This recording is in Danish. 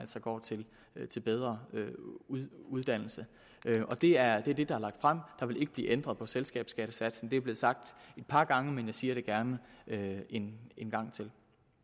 går til til bedre uddannelse og det er det der er lagt frem der vil ikke blive ændret på selskabsskattesatsen det er blevet sagt et par gange men jeg siger det gerne en en gang til